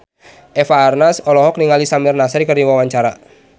Eva Arnaz olohok ningali Samir Nasri keur diwawancara